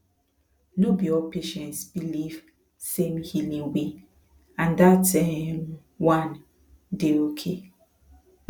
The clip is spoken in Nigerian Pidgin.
no be all patients believe same healing way and that um one dey okay